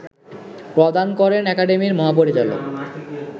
প্রদান করেন একাডেমির মহাপরিচালক